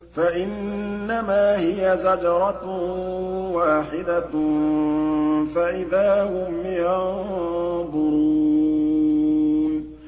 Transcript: فَإِنَّمَا هِيَ زَجْرَةٌ وَاحِدَةٌ فَإِذَا هُمْ يَنظُرُونَ